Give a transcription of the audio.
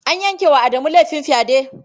An yanke wa Adamu laifin fyade.